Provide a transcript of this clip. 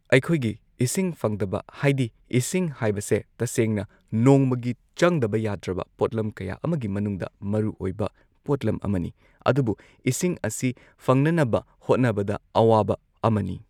ꯑꯩꯈꯣꯏꯒꯤ ꯏꯁꯤꯡ ꯐꯪꯗꯕ ꯍꯥꯏꯗꯤ ꯏꯁꯤꯡ ꯍꯥꯏꯕꯁꯦ ꯇꯁꯦꯡꯅ ꯅꯣꯡꯃꯒꯤ ꯆꯪꯗꯕ ꯌꯥꯗ꯭ꯔꯕ ꯄꯣꯠꯂꯝ ꯀꯌꯥ ꯑꯃꯒꯤ ꯃꯅꯨꯡꯗ ꯃꯔꯨꯑꯣꯏꯔꯤꯕ ꯄꯣꯠꯂꯝ ꯑꯃꯅꯤ ꯑꯗꯨꯕꯨ ꯏꯁꯤꯡ ꯑꯁꯤ ꯐꯪꯅꯅꯕ ꯍꯣꯠꯅꯕꯗ ꯑꯋꯥꯕ ꯑꯃꯅꯤ꯫